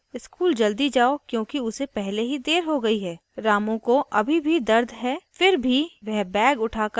माँ उसे पानी देती है और उससे कहती है school जल्दी जाओ क्योंकि उसे पहले ही देर हो गयी है